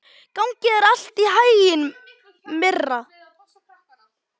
Gangi þér allt í haginn, Myrra.